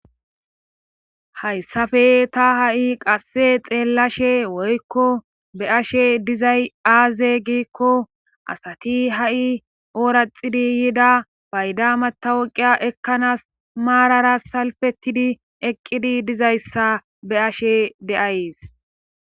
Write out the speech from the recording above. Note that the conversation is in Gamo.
Hayssafe ta ha'i qasse xeellashe woykko be ashe dizay aaze giikko asati ha'i ooraxidi yiida bayda matawoqiya ekkanaas maarara salfettidi eqqidi dizayssa be ashe deays.